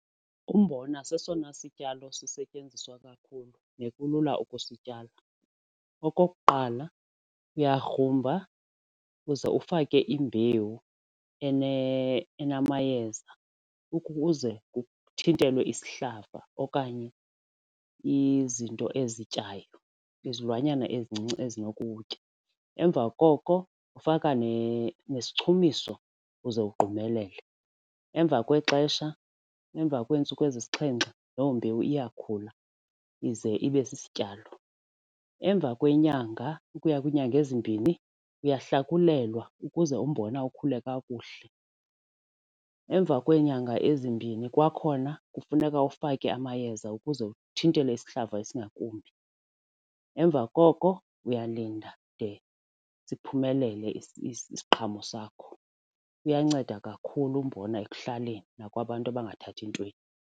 Umbona sesona sityalo sisetyenziswa kakhulu nekulula ukusityala. Okokuqala uyagruba uba uze ufake imbewu enamayeza ukuze kuthintelwe isihlaba okanye izinto ezityayo izilwanyana ezincinci ezinokuwutya. Emva koko ufaka nesichumiso uze ugqumelele, emva kwexesha emva kweentsuku ezisixhenxe loo mbewu iyakhula ize ibe sisityalo. Emva kweenyanga ukuya kwiinyanga ezimbini uyahlakulelwa ukuze umbona ukhule kakuhle. Emva kweenyanga ezimbini kwakhona kufuneka ufake amayeza ukuze uthi into esihlaza esingakumbi. Emva koko uyalinda de siphumelele isiqhamo sakho. Uyanceda kakhulu umbona ekuhlaleni nakwabantu abangathathi ntweni.